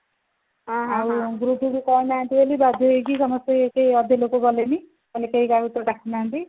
ଆଉ group କୁ କହିନାହାନ୍ତି ବୋଲି ବାଧ୍ୟ ହେଇକି ସମସ୍ତେ କେହି ଅଧେ ଲୋକ ଗଲେନି କହିଲେ କେହି ତାଙ୍କୁ ତ ଡାକି ନାହାନ୍ତି